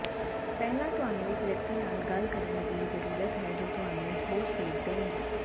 ਪਹਿਲਾਂ ਤੁਹਾਨੂੰ ਇੱਕ ਵਿਅਕਤੀ ਨਾਲ ਗੱਲ ਕਰਨ ਦੀ ਜ਼ਰੂਰਤ ਹੈ ਜੋ ਤੁਹਾਨੂੰ ਹੋਰ ਸੇਧ ਦੇਣਗੇ